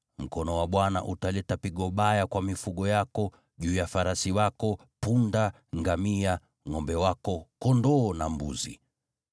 mkono wa Bwana utaleta pigo baya kwa mifugo yako, juu ya farasi wako, punda, ngamia, ngʼombe wako, kondoo na mbuzi.